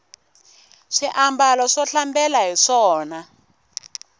swi ambala swo hlambela hiswona